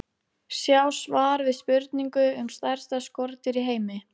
Mjög viðamikla rannsókn þyrfti til að skera úr um óyggjandi svar við ofangreindri spurningu.